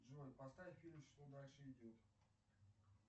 джой поставь фильм что дальше идет